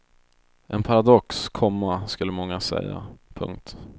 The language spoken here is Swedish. En paradox, komma skulle många säga. punkt